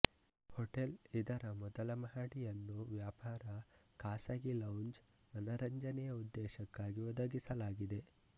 hotel ಇದರ ಮೊದಲ ಮಹಡಿಯನ್ನು ವ್ಯಾಪಾರ ಖಾಸಗಿ ಲೌಂಜ್ ಮನರಂಜನೆಯ ಉದ್ದೇಶಕ್ಕಾಗಿ ಒದಗಿಸಲಾಗಿದೆ